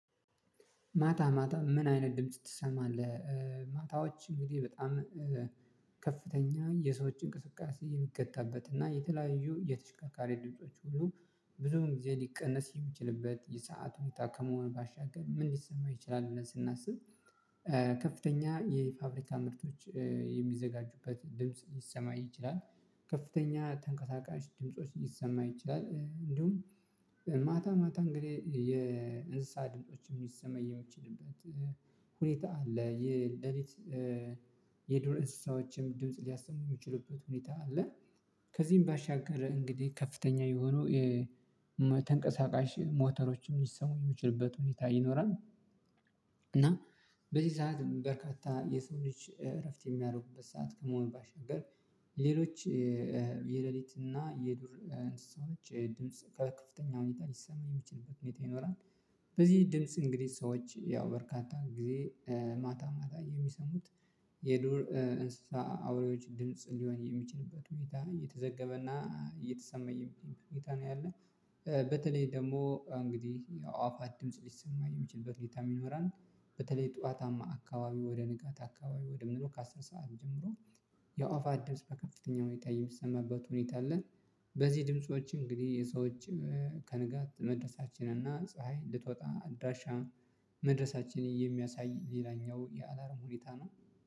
ማታ ማታ ምን አይነት ድምጽ ትሰማለህ? ማታዎች እንግዲህ በጣም ከፍተኛ የሰዎች እንቅስቃሴ የሚከታበት እና የተለያዩ የተሽካካሪ ድምጾች ሁሉ ብዙም ጊዜ ሊቀነስ የሚችልበት የሰዓቱን ይጣ ከመሆን ባሻገር ምን ሊሰማው ይችላል ስናስብ ከፍተኛ የፋብሪካ ምርቶች የሚዘጋጁበት ድምጽ ይሰማይ ይችላል ከፍተኛ ተንቀሳቃሽ ድምጾች ይሰማ ይችላል እንዲሁም ማታ ማታ እንግዲህ የንስሃ ድምጾች የሚሰማ የምችልበት ሁኔታ አለ የሌሊት የዶር ንስሰዎችም ድምጽ ሊያሰሙ የሚችሉበት ሁኔታ አለ። ከዚህም ባሻገር እንግዲህ ከፍተኛ የሆኑ የተንቀሳቃሽ ሞተሮችን ሊሰሙ የሚችሉበት ሁኔታ ይኖራል። እና በዚህ ሰዓት በርካታ የሰው ልጅ እረፍት የሚያደርጉበት ሰዓት ከመሆን ባሻገር ሌሎች የሌሊት እና የዱር እንሳሰዎች ድምጽ ከከፍተኛ ሁኔታ ሊሰማ የሚችልበት ሁኔታ ይኖራል በዚህ ድምጽ እንግዲህ ሰዎች ያው በርካታ ጊዜ ማታ ማታ የሚሰሙት የዱር እንስሳ አውሬዎች ድምጽ ሊሆን የሚችልበት ሁኔታ እየተዘገበና እየተሰማየም እየሄደ እየሄደ ነው ያለው በተለይ ደግሞ እንግዲህ አዋፋት ድምጽ ሊሰማ የሚችልበት ሁኔታም ዪኖራል። በተለይ ጠዋታማ አካባቢ ወደ ንጋት አካባቢ ወደ ምንክ አስር ሰዓት ጀምሮ የኦፋት ድምጽ በከፍተኛ ሁኔታ የሚሰማበት ሁኔታ አለ። በዚህ ድምፆችም እንግዲህ የሰዎች ከንጋት መድረሳችን እና ፀሀይ ልትወጣ አድራሻ መድረሳችን የሚያሳይ ሌላኛው የአላርም ሁኔታ ነው።